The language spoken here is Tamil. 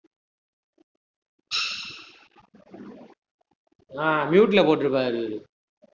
ஆஹ் mute ல போட்டிருப்பாரு இவரு